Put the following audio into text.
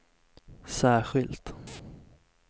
särskilt